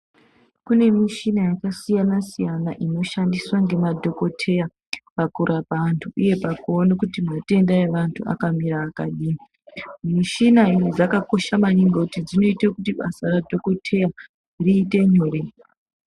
Kunemishina yakasiyana siyana inoshandiswe ngemadhokoteya pakurapa vantu, uye pakuwona kuti matenda evantu akamira akadini. Mishina idzi dzakakosha maningi kuti dzinoite kuti basa radhokotera riyite nyore.